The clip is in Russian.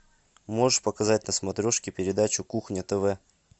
можешь показать на смотрешке передачу кухня тв